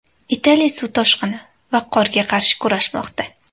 Italiya suv toshqini va qorga qarshi kurashmoqda.